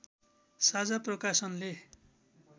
साझा प्रकाशनले